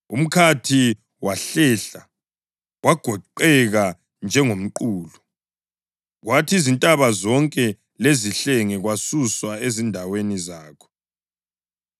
Umkhathi wahlehla wagoqeka njengomqulu, kwathi izintaba zonke lezihlenge kwasuswa ezindaweni zakho.